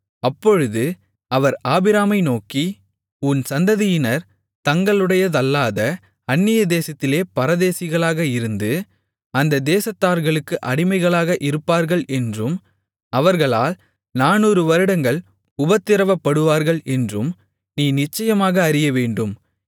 அப்பொழுது அவர் ஆபிராமை நோக்கி உன் சந்ததியினர் தங்களுடையதல்லாத அந்நிய தேசத்திலே பரதேசிகளாக இருந்து அந்த தேசத்தார்களுக்கு அடிமைகளாக இருப்பார்கள் என்றும் அவர்களால் 400 வருடங்கள் உபத்திரவப்படுவார்கள் என்றும் நீ நிச்சயமாக அறியவேண்டும்